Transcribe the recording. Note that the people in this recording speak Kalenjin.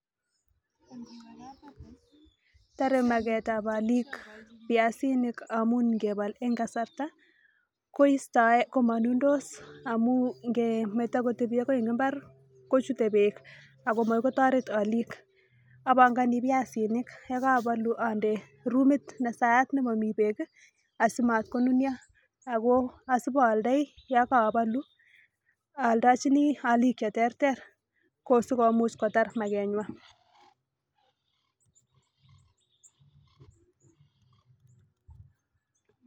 Tore magetab olik biasinik amun ingebol en kasarta kamanundos amu ngemeto kotebi agoi eng imbar kochute beek ago makoi kotaret olik. Abangani biasinik ye kabalu ande rumit ne sayat ne mami beek asimatkonunui ago asipaaldoi yon kaabalu aaldochini aalik cheterter kosikomuch kotar magenywan.